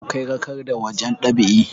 awkai rakarda wajen ɗab'i